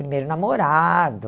Primeiro namorado...